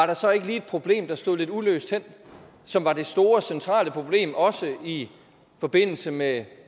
der så ikke lige et problem der står lidt uløst hen og som var det store centrale problem også i forbindelse med